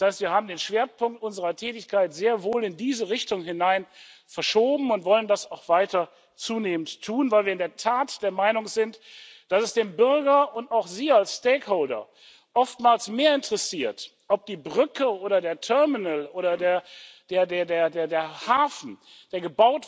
Das heißt, wir haben den Schwerpunkt unserer Tätigkeit sehr wohl in diese Richtung hin verschoben und wollen das auch weiter zunehmend tun, weil wir in der Tat der Meinung sind, dass es den Bürger und auch Sie als Stakeholder oftmals mehr interessiert, ob die Brücke oder der Terminal oder der Hafen, der